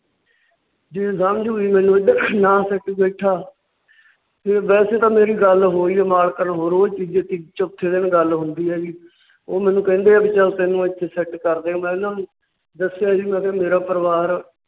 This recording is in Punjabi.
ਇੱਧਰ ਨਾ set ਬਹਿਠਾ। ਫੇਰ ਵੈਸੇ ਤਾਂ ਮੇਰੀ ਗੱਲ ਹੋਈ ਹੈ ਮਾਲਕਾਂ ਨਾਲ ਰੋਜ ਦੂਜੇ ਤੀਜੇ ਚੌਥੇ ਦਿਨ ਗੱਲ ਹੁੰਦੀ ਹੈ ਜੀ। ਉਹ ਮੈਨੂੰ ਕਹਿੰਦੇ ਚੱਲ ਤੈਨੂੰ ਇੱਥੇ set ਕਰ ਦਿਆਂਗੇ। ਮੈ ਉਹਨਾਂ ਦੱਸਿਆ ਜੀ ਮੈ ਮੇਰਾ ਪਰਿਵਾਰ